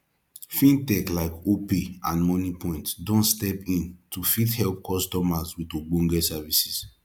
fintech like opay and moniepoint don step in to fit help customers with ogbonge services